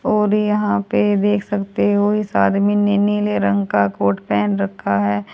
और यहां पे देख सकते हो इस आदमी ने नीले रंग का कोट पहेन रखा है।